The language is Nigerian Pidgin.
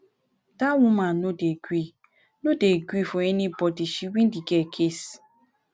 dat woman no dey gree no dey gree for anybody she win the girl case